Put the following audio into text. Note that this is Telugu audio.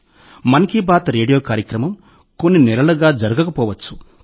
'మన్ కీ బాత్' రేడియో కార్యక్రమం కొన్ని నెలలుగా జరగకపోవచ్చు